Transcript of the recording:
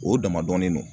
O dama dɔnnen non